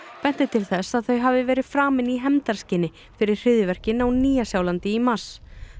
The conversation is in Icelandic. benti til þess að þau hafi verið framin í hefndarskyni fyrir hryðjuverkin á Nýja Sjálandi í mars